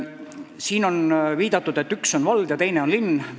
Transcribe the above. Siin on viidatud, et üks on vald ja teine on linn.